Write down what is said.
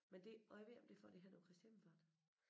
Men det og jeg ved ikke om det er for det henover Kristi Himmelfart